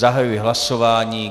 Zahajuji hlasování.